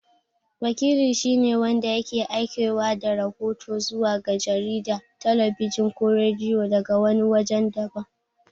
Wakili shi ne wanda yake aikewa da rahoto zuwa ga jarida, talabijin ko rediyo daga wani wajen daban.